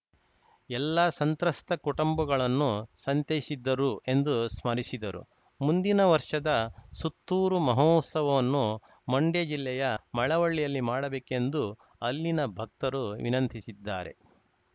ಎಲ್ಲಾ ಸಂತ್ರಸ್ತ ಕುಟುಂಬಗಳನ್ನು ಸಂತೈಸಿದ್ದರು ಎಂದು ಸ್ಮರಿಸಿದರು ಮುಂದಿನ ವರ್ಷದ ಸುತ್ತೂರು ಮಹೋತ್ಸವವನ್ನು ಮಂಡ್ಯಜಿಲ್ಲೆಯ ಮಳವಳ್ಳಿಯಲ್ಲಿ ಮಾಡಬೇಕೆಂದು ಅಲ್ಲಿನ ಭಕ್ತರು ವಿನಂತಿಸಿದ್ದಾರೆ